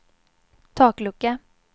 taklucka